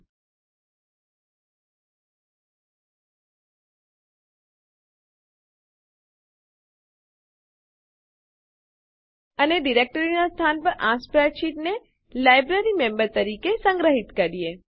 ltઅટકોgt અને ડિરેક્ટરીનાં સ્થાન પર આ સ્પ્રેડશીટને લાઇબ્રેરીમેમ્બર્સ તરીકે સંગ્રહિત કરીએ